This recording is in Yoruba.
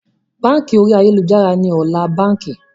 Báńkì orí ayélujára ni ọ̀la báńkì